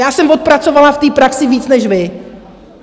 Já jsem odpracovala v té praxi víc než vy.